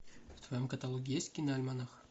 в твоем каталоге есть киноальманах